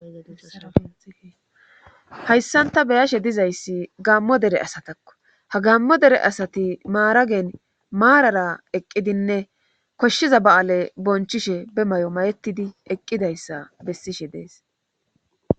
Hayssan ta beyashe dizayssi gammo dere asatakko ha gammo dere asati maaragen maarara eqqidinne koshshiza ba7aale bonchishe be may7o mayettidi eqqidayssa bessishe dees.